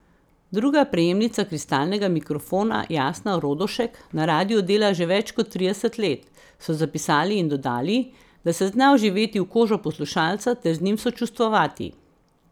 Druga prejemnica kristalnega mikrofona Jasna Rodošek na radiu dela že več kot trideset let, so zapisali in dodali, da se zna vživeti v kožo poslušalca ter z njim sočustvovati.